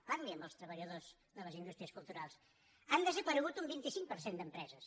parli amb els treballadors de les indústries culturals han desaparegut un vint cinc per cent d’empreses